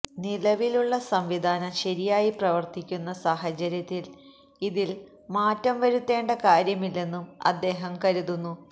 നിലവിലുള്ള സംവിധാനം ശരിയായി പ്രവർത്തിക്കുന്ന സാഹചര്യത്തിൽ ഇതിൽ മാറ്റം വരുത്തേണ്ട കാര്യമില്ലെന്നും അദ്ദേഹം കരുതുന്നു